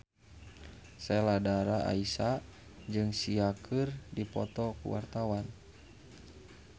Sheila Dara Aisha jeung Sia keur dipoto ku wartawan